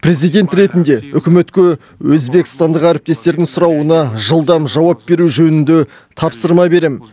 президент ретінде үкіметке өзбекстандық әріптестердің сұрауына жылдам жауап беру жөнінде тапсырма берем